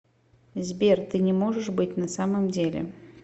сбер ты не можешь быть на самом деле